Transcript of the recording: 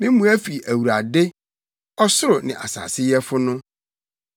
Me mmoa fi Awurade, ɔsoro ne asase yɛfo no.